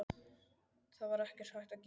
Það var ekkert hægt að gera.